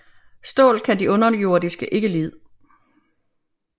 Stål kan de underjordiske ikke lide